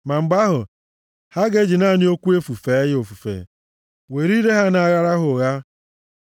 Ma mgbe ahụ, ha ga-eji naanị okwu efu fee ya ofufe, were ire ha na-aghara ya ụgha.